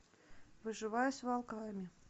выживая с волками